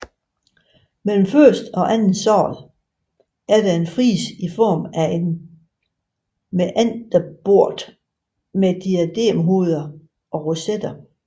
Mellem første og anden sal er der en frise i form af en mæanderbort med diademhoveder og rosetter